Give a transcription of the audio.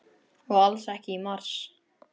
Og alls ekki í mars.